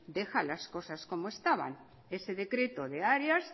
deja las cosas como estaban ese decreto de áreas